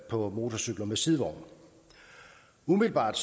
på motorcykler med sidevogn umiddelbart